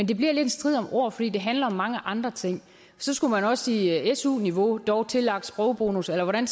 det bliver lidt en strid om ord fordi det handler om mange andre ting så skulle man også sige su niveau dog tillagt sprogbonus eller hvordan